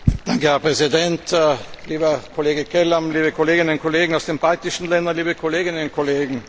Herr Präsident, lieber Kollege Kelam, liebe Kolleginnen und Kollegen aus den baltischen Ländern, liebe Kolleginnen und Kollegen!